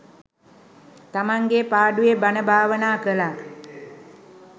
තමන්ගේ පාඩුවේ බණ භාවනා කළා.